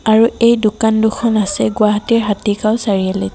আৰু এই দোকান দুখন আছে গুৱাহাটীৰ হতিগাওঁ চাৰিআলিত।